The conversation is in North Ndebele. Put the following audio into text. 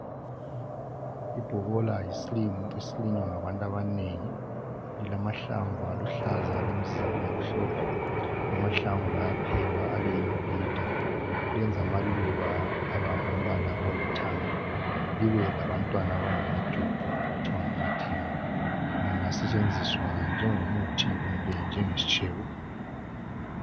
Ibhobola yisilimo esilinywa ngabantu abaningi silamahlamvu aluhlaza lemizila emhlophe amahlanvu ayaphekwa Abe yimibhida lenza amaluba abembala oluhlanza libe labantwana abangamajodo okuthiwa ngamathanga lingasentshenziswa njengo muthi kumbe njenge sintshebo